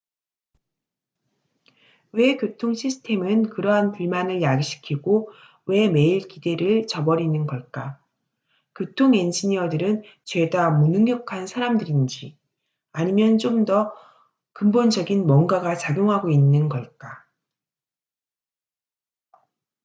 왜 교통 시스템은 그러한 불만을 야기시키고 왜 매일 기대를 저버리는 걸까 교통 엔지니어들은 죄다 무능력한 사람들인지 아니면 좀 더 근본적인 뭔가가 작용하고 있는 걸까